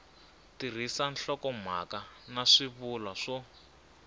tirhisa nhlokomhaka na swivulwa swo